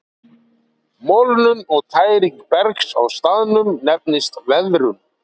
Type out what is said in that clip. Molnun og tæring bergs á staðnum nefnist veðrun.